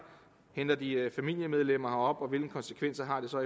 henter de familiemedlemmer herop og hvilke konsekvenser har det så